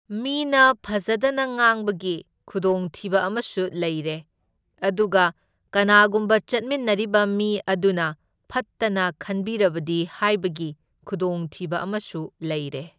ꯃꯤꯅ ꯐꯖꯗꯅ ꯉꯥꯡꯕꯒꯤ ꯈꯨꯗꯣꯡꯊꯤꯕ ꯑꯃꯁꯨ ꯂꯩꯔꯦ, ꯑꯗꯨꯒ ꯀꯅꯥꯒꯨꯝꯕ ꯆꯠꯃꯤꯟꯅꯔꯤꯕ ꯃꯤ ꯑꯗꯨꯅ ꯐꯠꯇꯅ ꯈꯟꯕꯤꯔꯕꯗꯤ ꯍꯥꯢꯕꯒꯤ ꯈꯨꯗꯣꯡꯊꯤꯕ ꯑꯃꯁꯨ ꯂꯩꯔꯦ꯫